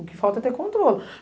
O que falta é ter controle.